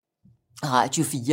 Radio 4